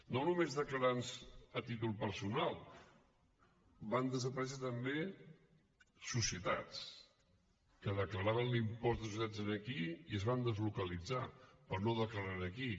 no només declarants a títol personal van desaparèixer també societats que declaraven l’impost de societats aquí i es van deslocalitzar per no declarar aquí